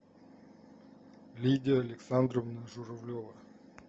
лидия александровна журавлева